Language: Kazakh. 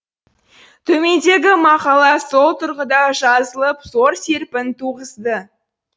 төмендегі мақала сол тұрғыда жазылып зор серпін туғызды